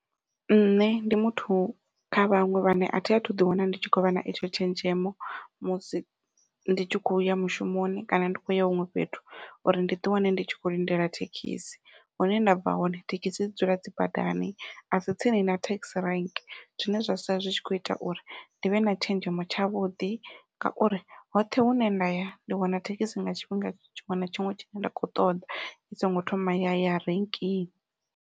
Nṋe ndi muthu kha vhaṅwe vhane athi athu ḓi wana ndi tshi khou vha na etsho tshenzhemo musi ndi tshi khoya mushumoni kana ndi khou ya huṅwe fhethu, uri ndi ḓi wane ndi tshi kho lindela thekhisi hune ndabva hone thekhisi dzi dzula dzi badani a si tsini na thekhisi rank zwine zwa sala zwi tshi kho ita uri ndi vhe na tshenzhemo tshavhuḓi ngauri hoṱhe hune nda ya ndi wana thekhisi nga tshifhinga tshiṅwe na tshiṅwe tshine nda kho ṱoḓa i songo thoma ya ya rinkini.